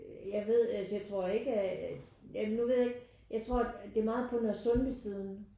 Jeg ved altså jeg tror ikke at jamen nu ved jeg ikke jeg tror det er meget på Nørresundby siden